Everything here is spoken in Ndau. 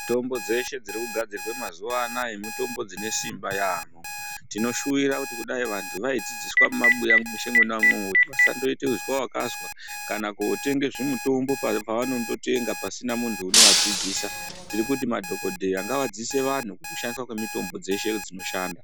Mitombo dzeshe dziri kugadzirwe mazuwa anaya mitombo dzine simba yaampho Tinoshuwira kuti kudai vantu vaidzidziswa mumabuya mweshe mwona umwomwo, kuti vasandoite zwawakazwa kana kootenge zvimitombo papavanondotenga pasina muntu unovadzidzisa. Tiri kuti madhokodheya ngavadzidzise vantu kushandiswa kwemitombo dzeshe dzinoshanda.